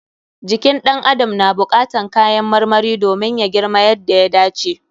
Jikin ɗan adam na buƙatan kayan marmari domin ya girma yadda ya dace.